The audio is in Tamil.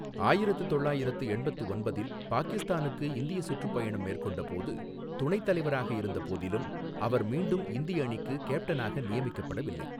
ஆயிரத்து தொள்ளாயிரத்து எண்பத்து ஒன்பதில் பாகிஸ்தானுக்கு இந்திய சுற்றுப்பயணம் மேற்கொண்டபோது துணைத் தலைவராக இருந்த போதிலும், அவர் மீண்டும் இந்திய அணிக்கு கேப்டனாக நியமிக்கப்படவில்லை.